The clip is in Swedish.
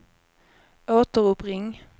återuppring